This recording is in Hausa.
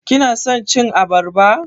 Kina son cin abarba?